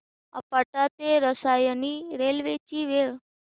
आपटा ते रसायनी रेल्वे ची वेळ